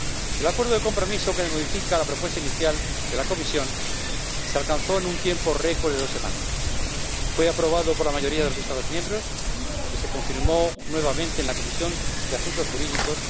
El acuerdo de compromiso, que modifica la propuesta inicial de la Comisión, se alcanzó en un tiempo récord de dos semanas, fue aprobado por la mayoría de los Estados miembros y se confirmó nuevamente en la Comisión de Asuntos Jurídicos.